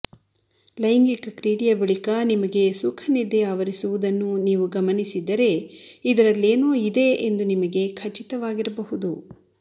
ಲೈಂಗಿಕ ಕ್ರೀಡೆಯ ಬಳಿಕ ನಿಮಗೆ ಸುಖನಿದ್ದೆಯಾವರಿಸುವುದನ್ನು ನೀವು ಗಮನಿಸಿದ್ದರೆ ಇದರಲ್ಲೇನೋ ಇದೆ ಎಂದು ನಿಮಗೆ ಖಚಿತವಾಗಿರಬಹುದು